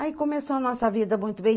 Aí começou a nossa vida muito bem.